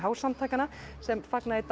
samtakanna sem fagna í dag